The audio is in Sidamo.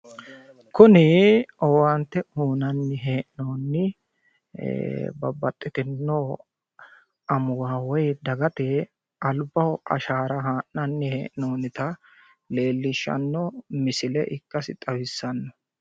kuni owaante uyiinanni hee'noonni babbaxxitino amuwa woy dagate albaho ashaara haa'nani hee'noonita leellishshanno misile ikkase xawissanno.